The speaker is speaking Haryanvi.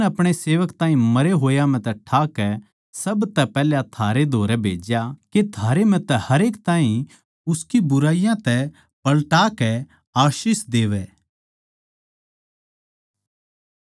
परमेसवर नै अपणे सेवक ताहीं मरे होया म्ह तै ठाकै सब तै पैहल्या थारै धोरै भेज्या के थारै म्ह तै हरेक ताहीं उसकी बुराइयाँ तै पलटा कै आशीष देवै